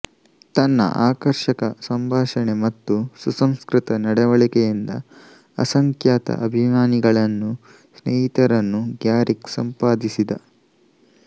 ತನ್ನ ಆಕರ್ಷಕ ಸಂಭಾಷಣೆ ಮತ್ತು ಸುಸಂಸ್ಕೃತ ನಡೆವಳಿಕೆಯಿಂದ ಅಸಂಖ್ಯಾತ ಅಭಿಮಾನಿಗಳನ್ನೂ ಸ್ನೇಹಿತರನ್ನೂ ಗ್ಯಾರಿಕ್ ಸಂಪಾದಿಸಿದ